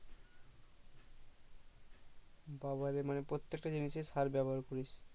বাবারে মানে প্রত্যেক তা জিনিস এ সার ব্যাবহার করিস